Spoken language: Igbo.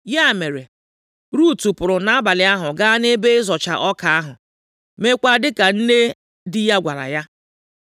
Ya mere, Rut pụrụ nʼabalị ahụ gaa nʼebe ịzọcha ọka ahụ, meekwa dịka nne di ya gwara ya.